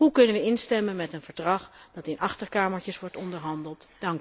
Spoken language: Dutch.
Hoe kunnen we instemmen met een verdrag waarover in achterkamertjes wordt onderhandeld?